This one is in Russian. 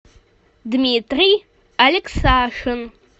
дмитрий алексашин